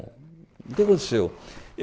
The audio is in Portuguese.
O que aconteceu?